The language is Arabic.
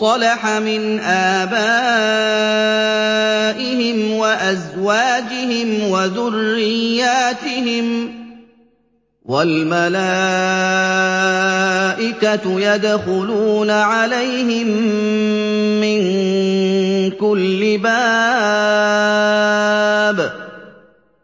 صَلَحَ مِنْ آبَائِهِمْ وَأَزْوَاجِهِمْ وَذُرِّيَّاتِهِمْ ۖ وَالْمَلَائِكَةُ يَدْخُلُونَ عَلَيْهِم مِّن كُلِّ بَابٍ